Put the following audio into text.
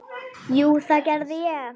Jú, það gerði ég.